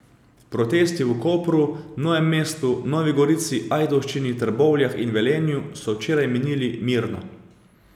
Protesti v Kopru, Novem mestu, Novi gorici, Ajdovščini, Trbovljah in Velenju so včeraj minili mirno.